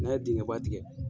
N'an ye dingɛ ba tigɛ.